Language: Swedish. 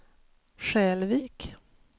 Skälvik